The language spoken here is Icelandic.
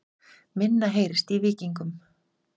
Minna heyrist í Víkingum